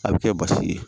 A bɛ kɛ basi ye